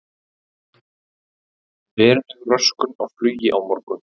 Veruleg röskun á flugi á morgun